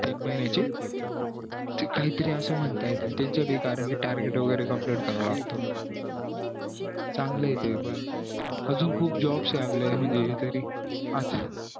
तीन महिन्या ची ते काही तरी असं म्हणत्यात ते कारण त्यांचं ते target वैगेरे complete करायला लागतो चांगलं ये ते अजून खूप jobs ये आपल्याला म्हणजे तरी